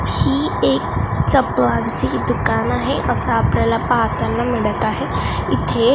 ही एक चपलांचे दुकान आहे असं आपल्याला पाहताना मिळतं आहे. इथे--